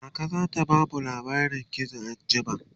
kaka zata bamu labarin gizo anjima